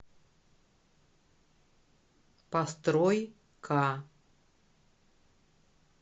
построй ка